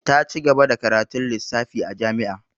Ta ci gaba da karatun lissafi a jami'a.